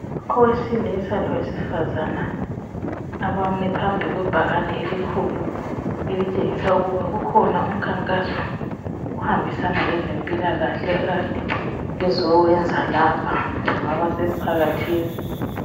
Owesilisa lowesifazana abami phambi kwebhakane elikhulu elitshengisa ukuthi ikhona umkhankaso ohambisana lezempilakahle okade bezowenza lapha kungaba semphakathini.